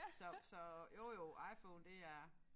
Så så jo jo IPhone det er